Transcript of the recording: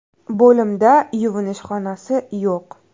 Bo‘limda yuvinish xonasi yo‘q.